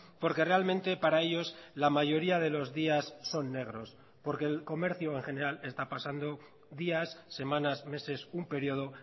porque realmente para ellos la mayoría de los días son negros porque el comercio en general está pasando días semanas meses un periodo